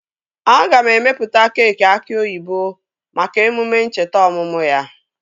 Aga m emepụta keekị aki oyibo maka emume ncheta ọmụmụ ya